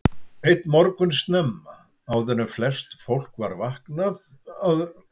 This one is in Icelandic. Einn morgun snemma, áður en flest fólk var vaknaði lagði hann upp frá Hólum.